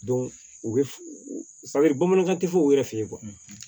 u bɛ bamanankan tɛ fɔ u yɛrɛ fɛ yen